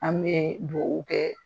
An bɛ dugaw kɛ